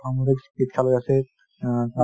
অসামৰিক চিকিৎসালয় আছে